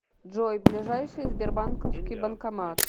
джой ближайший сбербанковский банкомат